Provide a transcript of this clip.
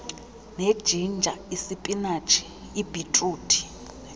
nejinja isipinatshi ibhitruthi